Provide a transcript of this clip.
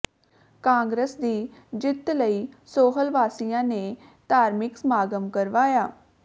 ਕਾਂਗਰਸ ਦੀ ਜਿੱਤ ਲਈ ਸੋਹਲ ਵਾਸੀਆਂ ਨੇ ਧਾਰਮਿਕ ਸਮਾਗਮ ਕਰਵਾਇਆ